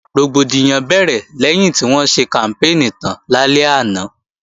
Rògbòdìyàn bẹ̀rẹ̀ lẹ́yìn tí wọ́n ṣe kàmpéènì tán lálẹ́ àná